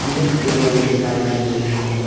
तीन टेबल दिखाई दे रही है।